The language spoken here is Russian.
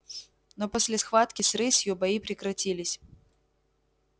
но после схватки с рысью бои прекратились